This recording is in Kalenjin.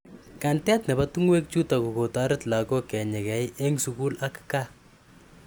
Kantet nebo tungwek chutok kokotaret lakoko kenyekei eng sukul ak kaa .